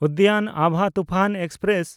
Udyan Abha Toofan express